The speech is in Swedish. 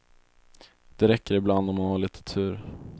Det räcker ibland om man har lite tur.